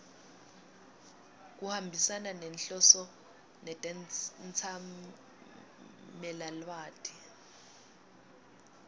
kuhambisana nenhloso netetsamelilwati